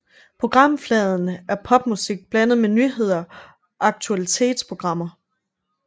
Programfladen er popmusik blandet med nyheder og aktualitetsprogrammer